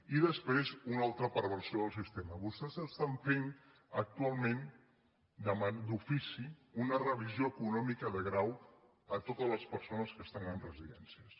i després una altra perversió del sistema vostès es·tan fent actualment d’ofici una revisió econòmica de grau a totes les persones que estan en residències